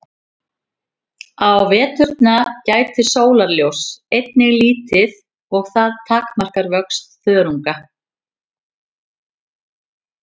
Á veturna gætir sólarljóss einnig lítið og það takmarkar vöxt þörunga.